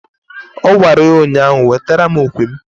Ọ gwara ya ụnyaahụ "Wetara mụ okwe m"!